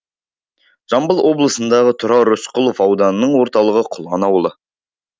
жамбыл облысындағы тұрар рысқұлов ауданының орталығы құлан ауылы